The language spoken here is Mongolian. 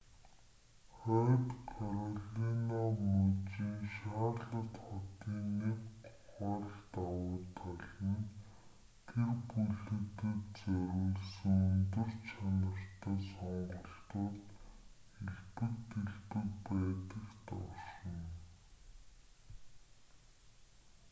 хойд каролина мужийн шарлотт хотын нэг гол давуу тал нь гэр бүлүүдэд зориулсан өндөр чанартай сонголтууд элбэг дэлбэг байдагт оршино